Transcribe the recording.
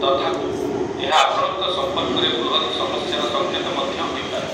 ତଥାପି, ଏହା ଆପଣଙ୍କ ସମ୍ପର୍କରେ ବୃହତ ସମସ୍ୟାର ସଙ୍କେତ ମଧ୍ୟ ହୋଇପାରେ ।